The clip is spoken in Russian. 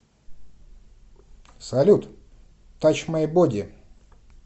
салют тач май боди